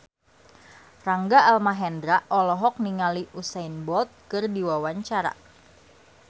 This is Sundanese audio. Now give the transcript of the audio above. Rangga Almahendra olohok ningali Usain Bolt keur diwawancara